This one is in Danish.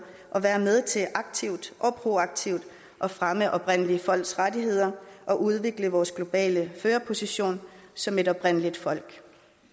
at være med til aktivt og proaktivt at fremme oprindelige folks rettigheder og udvikle vores globale førerposition som et oprindeligt folk